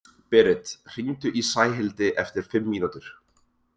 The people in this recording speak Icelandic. Berit, hringdu í Sæhildi eftir fimm mínútur.